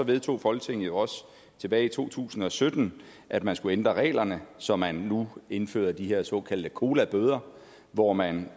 vedtog folketinget jo også tilbage i to tusind og sytten at man skulle ændre reglerne så man nu indfører de her såkaldte cola bøder hvor man